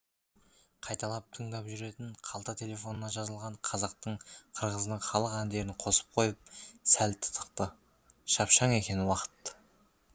қайталап тыңдап жүретін қалта телефонына жазылған қазақтың қырғыздың халық әндерін қосып қойып сәл тынықты шапшаң екен уақыт